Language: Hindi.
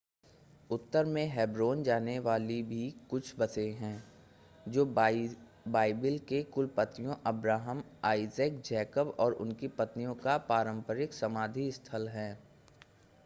उत्तर में हेब्रोन जाने वाली भी कुछ बसें हैं जो बाइबिल के कुलपतियों अब्राहम आइसैक जैकब और उनकी पत्नियों का पारंपरिक समाधि स्थल है